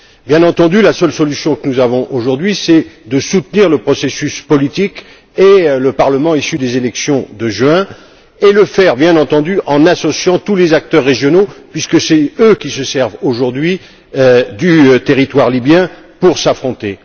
Bien entendu, la seule solution que nous avons aujourd'hui est de soutenir le processus politique et le Parlement issu des élections de juin et le faire bien entendu en associant tous les acteurs régionaux puisque ce sont eux qui se servent aujourd'hui du territoire libyen pour s'affronter.